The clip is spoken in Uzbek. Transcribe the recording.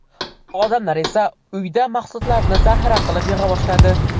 Odamlar esa uyda mahsulotlarni zaxira qilib yig‘a boshladi.